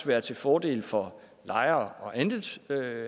være til fordel for lejere og andelshavere